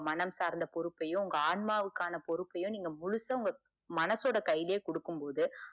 உங்க மனம் சார்ந்த பொறுப்பையோ ஆன்மாவுக்கான பொறுப்பையோ நீங்க முழுசா உங்க மனசோட கையிலையே கொடுக்கும் போது